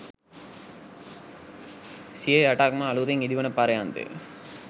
සියයටක් ම අලුතින් ඉදිවන පර්යන්තය